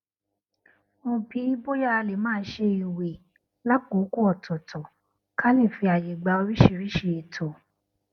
mo bi í bóyá a lè máa ṣe ìwè lákòókò òtòòtò ká lè fi àyè gba oríṣiríṣi ètò